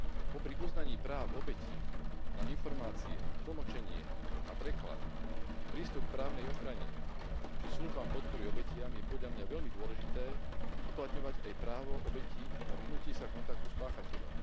Popri uznaní práv obetí na informácie, tlmočenie a preklad, prístup k právnej ochrane, či službám podpory obetiam je podľa mňa veľmi dôležité uplatňovať aj právo obetí na vyhnutie sa kontaktu s páchateľom.